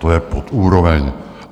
To je pod úroveň.